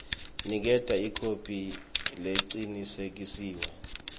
niketa ikhophi lecinisekisiwe